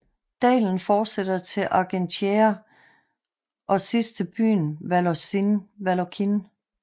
Dalen fortsætter til Argentiére og sidst til byen Vallorcine